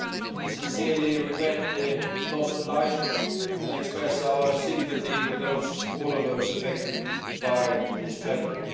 We sincerely regret the loss of life and express our sympathy with all of those affected by this tragedy.